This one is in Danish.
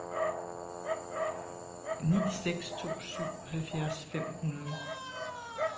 ni seks to syv halvfjerds fem hundrede